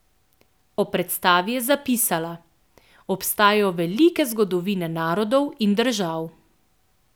Ob predstavi je zapisala: "Obstajajo velike zgodovine narodov in držav.